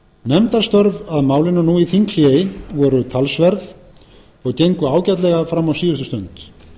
nefndarstörf að málinu nú í þinghléi voru talsverð og gengu ágætlega fram á síðustu stund